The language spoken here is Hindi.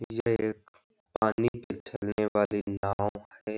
ये एक पानी में चलने वाली नाव है |